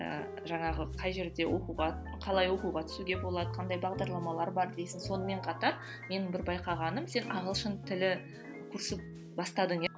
ы жаңағы қай жерде оқуға қалай оқуға түсуге болады қандай бағдарламалар бар дейсің сонымен қатар менің бір байқағаным сен ағылшын тілі курсын бастадың иә